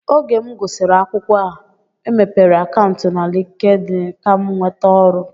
Oge m gụsịrị akwụkwọ e mepere akantu na LinkedIn Kam nweta ọrụ.